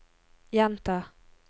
gjenta